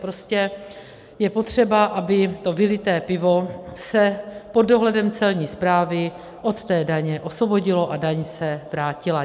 Prostě je potřeba, aby to vylité pivo se pod dohledem Celní správy od té daně osvobodilo a daň se vrátila.